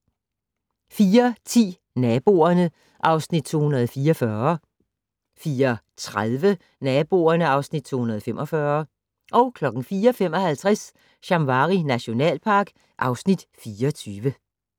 04:10: Naboerne (Afs. 244) 04:30: Naboerne (Afs. 245) 04:55: Shamwari nationalpark (Afs. 24)